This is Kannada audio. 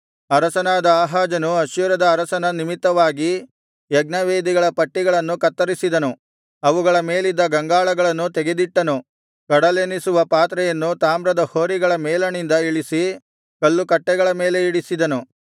ಅರಸನಾದ ಆಹಾಜನು ಅಶ್ಶೂರದ ಅರಸನ ನಿಮಿತ್ತವಾಗಿ ಯಜ್ಞವೇದಿಗಳ ಪಟ್ಟಿಗಳನ್ನು ಕತ್ತರಿಸಿದನು ಅವುಗಳ ಮೇಲಿದ್ದ ಗಂಗಾಳಗಳನ್ನು ತೆಗೆದಿಟ್ಟನು ಕಡಲೆನಿಸುವ ಪಾತ್ರೆಯನ್ನು ತಾಮ್ರದ ಹೋರಿಗಳ ಮೇಲಣಿಂದ ಇಳಿಸಿ ಕಲ್ಲುಕಟ್ಟೆಗಳ ಮೇಲೆ ಇಡಿಸಿದನು